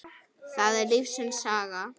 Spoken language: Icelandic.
það er lífsins saga.